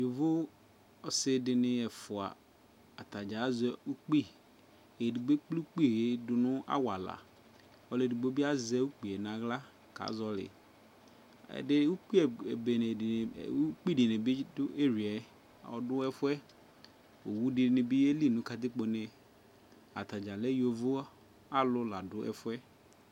Yovo asi di ni ɛfua, atadza azɛ ukpi Ɛdigbo ekple ukpi yɛ dʋ awala, ɔlʋ edigbo bi azɛ ukpi n'aɣla kazɔli Ɛdi ukpi ɛbene di, ukpi di ni bi dʋ eriya, ɔdʋ ɛfuɛ Owʋ di ni bi yɛli nʋ katikpo ne Atadza lɛ yovo alʋ la dʋ ɛfuɛ